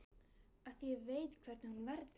Af því ég veit hvernig hún verður.